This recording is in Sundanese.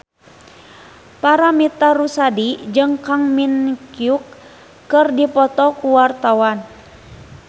Paramitha Rusady jeung Kang Min Hyuk keur dipoto ku wartawan